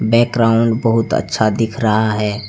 Background बहुत अच्छा दिख रहा है।